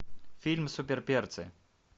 фильм супер перцы